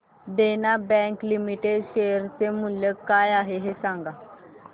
देना bank limited share चे मूल्य काय आहे हे सांगा